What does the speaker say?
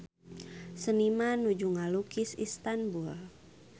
Seniman nuju ngalukis Istanbul